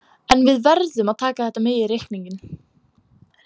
En við verðum að taka þetta með í reikninginn.